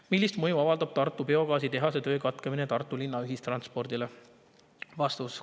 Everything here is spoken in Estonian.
Millist mõju avaldab Tartu Biogaasi tehase töö katkemine Tartu linna ühistranspordile?